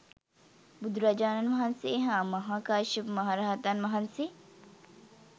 බුදුරජාණන් වහන්සේ හා මහා කාශ්‍යප මහ රහතන් වහන්සේ